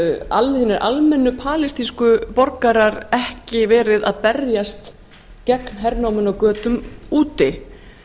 hinir almennu palestínsku borgarar ekki verið að berjast gegn hernáminu á götum úti